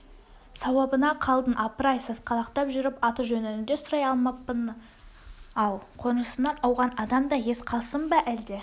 сауабына қалдың апыр-ай сасқалақтап жүріп аты-жөніңді де сұрай алмаппын-ау қонысынан ауған адамда ес қалсын ба әлде